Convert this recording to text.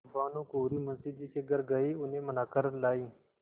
भानुकुँवरि मुंशी जी के घर गयी उन्हें मना कर लायीं